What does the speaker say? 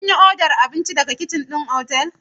Kun yi odar abinci daga kicin ɗin otal?